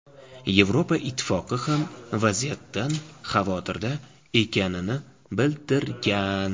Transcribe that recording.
Yevroittifoq ham vaziyatdan xavotirda ekanini bildirgan.